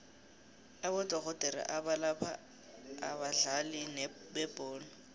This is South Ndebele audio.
abodorhodere abalapha abadlali bebholo